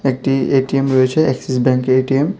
একটি এ_টি_এম রয়েছে এক্সিস ব্যাংকের এ_টি_এম ।